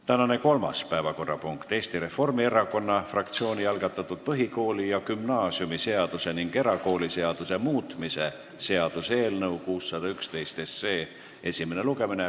Tänane kolmas päevakorrapunkt on Eesti Reformierakonna fraktsiooni algatatud põhikooli- ja gümnaasiumiseaduse ning erakooliseaduse muutmise seaduse eelnõu 611 esimene lugemine.